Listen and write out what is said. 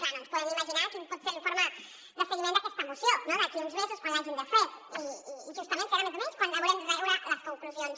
clar no ens podem ni imaginar quin pot ser l’informe de seguiment d’aquesta moció no d’aquí a uns mesos quan l’hagin de fer i justament serà més o menys quan n’haurem de treure les conclusions